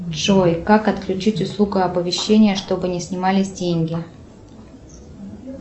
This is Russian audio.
джой как отключить услугу оповещения чтобы не снимались деньги